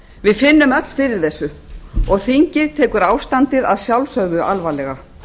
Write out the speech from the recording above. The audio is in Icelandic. við finnum öll fyrir þessu og þingið tekur ástandið að sjálfsögðu alvarlega